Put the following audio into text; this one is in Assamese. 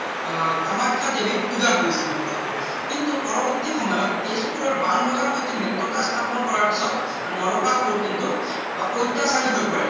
আহ কামাখ্যা দেৱীক পূজা কৰিছিল নৰকাসুৰে কিন্তু পৰবৰ্তী সময়ত তেজপৰৰ বান ৰজাৰ সৈতে মৃত্যতা স্থাপন কৰাৰ পিছত নৰকাসুৰ কিন্তু প্ৰত্যাসাৰি হৈ পৰে